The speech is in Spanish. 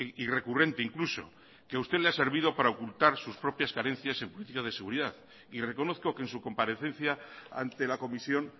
y recurrente incluso que a usted le ha servido para ocultar sus propias carencias en principios de seguridad y reconozco que en su comparecencia ante la comisión